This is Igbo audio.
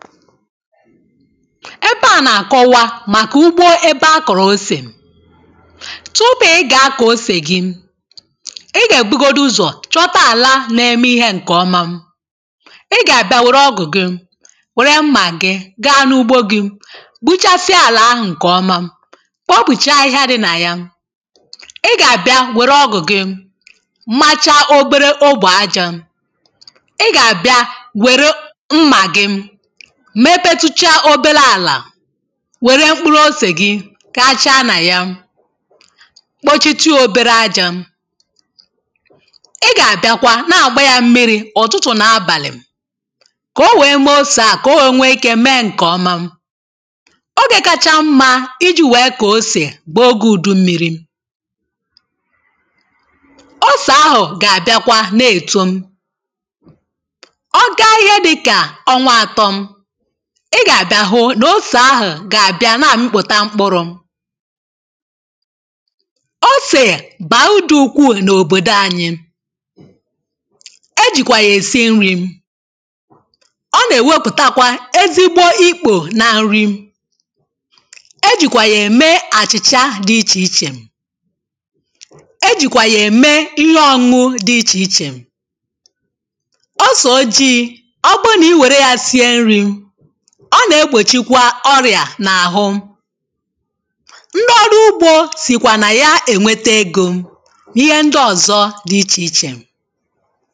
ebe a na-akọwa màkà ugbo ebe a kọ̀rọ̀ osè tupu ị gà-akọ̀ osè gị ị gà-èbugodu ụzọ̀ chọta àla na-eme ihe ǹkè ọma ị gà-àbịa wère ọgụ̀ gị wère mmà gị gaa n’ugbo gị gbụchasịa àlà ahụ̀ ǹkè ọma kpopùchaa ahịhịa dị nà ya ị gà-àbịa wère ọgụ̀ gị macha oberė obù ajȧ ị gà-àbịa wère mmà gị mepetucha òbelȧ àlà wère mkpụrụ osè gị ka acha nà ya kpochitiọ obere ajȧ ị gà-àbịakwa na àgba ya mmiri̇ ụ̀tụtụ̀ nà abàlị̀ kà o wèe mee osè a kà o wee nwee ike mee ǹkè ọma ogè kacha mma iji̇ wèe kà osè bụ̀ ogė ùdummìrì osè ahụ̀ gà-àbịakwa na-ètu ọgȧ ihe dịkà ọnwa atọ̇ ị gà-àbịa hụ nà osè ahụ̀ gà-àbịa na-àmịpụ̀ta mkpụrụ̇ osè bàrudu ukwuu n’òbòdò anyị̇ e jìkwà yà èsi nri̇ ọ nà-èwepụ̀takwa ezigbo ikpò na nri e jìkwà yà ème àchìchà dì ichè ichè e jìkwà yà ème ihe ọṁmụ̇ dị ichè ichè o sò ojii ọbụrụ nà i wère ya sie nri̇ ọ na-egbochikwa ọrịà a na-ahụ ndị ọrụ ugbo sikwa na ya enweta egȯ n’ihe ndị ọzọ dị iche ichè